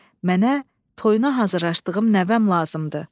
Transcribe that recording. Mənə toyuna hazırlaşdığım nəvəm lazımdır.